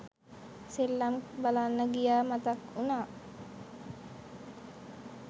සෙල්ලම් බලන්න ගියා මතක් වුනා.